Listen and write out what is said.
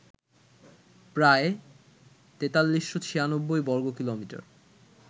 প্রায় ৪৩৯৬ বর্গকিমি